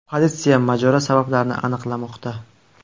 Politsiya mojaro sabablarini aniqlamoqda.